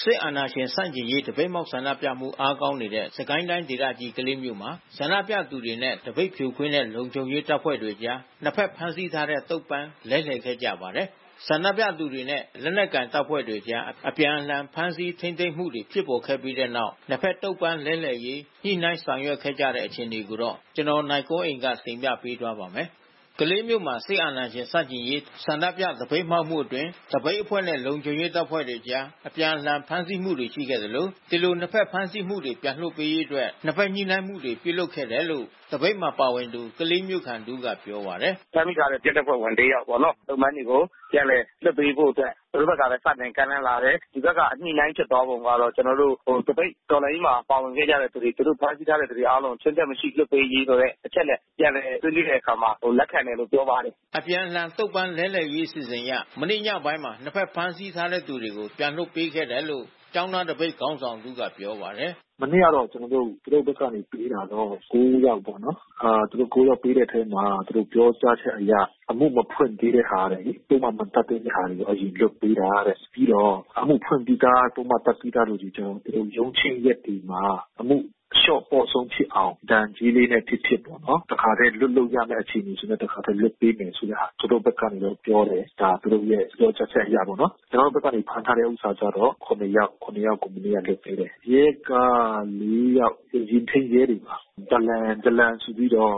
စစ်အာဏာရှင်ဆန့်ကျင်ရေး သပိတ်မှောက် ဆန္ဒပြမှု အားကောင်းနေတဲ့ စစ်ကိုင်းတိုင်းဒေသကြီး ကလေးမြို့မှာ ဆန္ဒပြသူတွေနဲ့ သပိတ်ဖြိုခွင်းတဲ့ လုံခြုံရေး တပ်ဖွဲ့တွေအကြား နှစ်ဖက် ဖမ်းဆီးထားတဲ့ သုံ့ပန်း လဲလှယ်ခဲ့ကြပါတယ်။ ဆန္ဒပြသူတွေနဲ့ လက်နက်ကိုင်တပ်ဖွဲ့တွေအကြား အပြန်အလှန် ဖမ်းဆီး ထိန်းသိမ်းမှုတွေ ဖြစ်ပေါ်ခဲ့ပြီးတဲ့နောက် နှစ်ဖက် သုံ့ပန်းလဲလှယ်ရေး ညှိနှိုင်း လုပ်ဆောင်ခဲ့ကြတဲ့ အခြေအနေေတွေကို နိုင်ကွန်းအိန် တင်ပြပေးထားပါတယ်။ ကလေးမြို့မှာ စစ်အာဏာရှင်ဆန့်ကျင်ရေး ဆန္ဒပြ သပိတ်မှောက်မှုအတွင်း သပိတ်အဖွဲ့နဲ့ လုံခြုံရေးတပ်ဖွဲ့တွေအကြား အပြန်အလှန် ဖမ်းဆီးမှုတွေ ရှိခဲ့သလို ဒီလို နှစ်ဖက်ဖမ်းဆီးသူတွေ ပြန်လွှတ်ပေးရေးအတွက် နှစ်ဖက်ညှိနှိုင်းမှုတွေ ပြုလုပ်ခဲ့တယ်လို့ သပိတ်မှာပါဝင်သူ ကလေးမြို့ခံတဦးက ပြောပါတယ်။ “ဖမ်းမိထားတဲ့ ရဲတပ်ဖွဲ့ ၄ ယောက်ပေါ့နော်၊ သုံ့ပန်းတွေကို ပြန်လည်လွှတ်ပေးဖို့အတွက် သူတို့ဘက်ကပဲ စတင်ကမ်းလှမ်းလာတယ်။ ဒီဘက်က ညှိနှိုင်းဖြစ်သွားပုံကတော့ ကျနော်တို့ သပိတ်တော်လှန်ရေးမှာ ပါဝင်ခဲ့ကြတဲ့သူတွေ သူတို့ဖမ်းဆီးထားတဲ့သူတွေ အားလုံးကို ခြွင်းချက်မရှိ အားလုံးပြန်လွှတ်ပေးရေး အချက်နဲ့ ပြန်လည်လွှတ်ပေးတဲ့အခါမှာ လက်ခံတယ်လို့ ပြောပါတယ်။” အပြန်အလှန် သုံ့ပန်းလဲလှယ်ရေး အစီအစဉ်အရ မနေ့ညပိုင်းမှာ နှစ်ဖက် ဖမ်းဆီးထားသူတွေကို ပြန်လွှတ်ပေးခဲ့တယ်လို့ ကျောင်းသားသပိတ် ခေါင်းဆောင်တဦးက ပြောပါတယ်။ “မနေ့ကတော့ ကျနော်တို့ သူတို့ဘက်က လွှတ်ပေးတာတော့ ၉ ယောက်ပေါ့နော်။ သူတို့ ၉ ယောက်ပေးတဲ့အထဲမှာ သူတို့ပြောကြားချက်အရ အမှုမဖွင့်သေးတဲ့ဟာတို့ ပုဒ်မ မတတ်သေးတဲ့ဟာတို့ ယူခဲ့ပေးတာတဲ့။ ပြီးတော့ အမှုဖွင့်ပြီးသား ပုဒ်မတတ်ပြီးသားသူတွေကို သူတို့ ရုံးချိန်းရက်တွေမှာ အမှုအလျှော့ပေါ့ဆုံးဖြစ်အောင် ဒဏ်ကြေးလေးနဲ့ ဖြစ်ဖြစ်ပေါ့နော် တခါတည်း လွှတ်လို့ရတဲ့ အခြေအနေဆို တခါတည်း လွှတ်ပေးမယ်ဆိုတဲ့ဟာ သူတို့ဘက်ကနေ ပြောတယ်။ ကျနော်တို့ဘက်က ဖမ်းထားတဲ့ဟာက ၇ ယောက်။ ၇ ယောက်ကို မနေ့က ပြန်လွှတ်ပေးတယ်။ ရဲက ၄ ယောက် ယာဉ်ထိန်းရဲတွေပါ။ ဒလန်ဆိုပြီးတော့